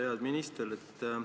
Hea minister!